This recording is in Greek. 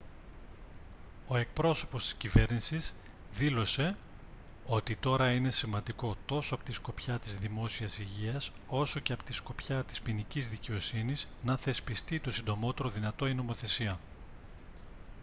ο εκπρόσωπος της κυβέρνησης δήλωσε «ότι τώρα είναι σημαντικό τόσο από τη σκοπιά της δημόσιας υγείας όσο και από τη σκοπιά της ποινικής δικαιοσύνης να θεσπιστεί το συντομότερο δυνατό η νομοθεσία»